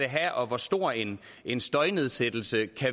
have og hvor stor en en støjnedsættelse